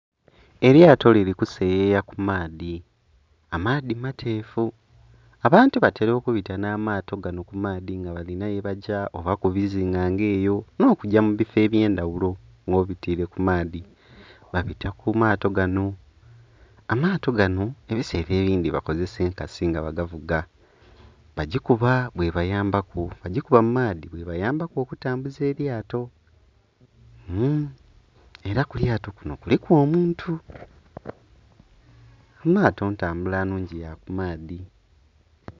Eryato liri kuseyeya ku maadhi, amaadhi matefu abantu batera okubita n'amaato gano ku maadhi nga balina yabaja oba kubizinga nga eyo n'okuja mubifo ebyendhaghulo nga obitire ku maadhi babita ku maato gano. Amaato gano ebisera ebindhi bakozesa enkasi nga bagavuga bagikuba nga ebayambaku, bagikuba mu maadhi nga ebayambaku okutambuza eryato era ku lyato kuno kuliku omuntu, eryato ntambula nnhungi ya ku maadhi.